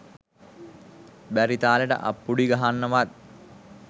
බැරි තාලෙට අප්පුඩි ගහන්නවත්